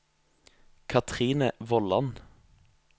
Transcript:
Kathrine Vollan